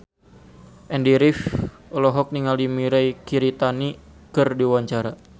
Andy rif olohok ningali Mirei Kiritani keur diwawancara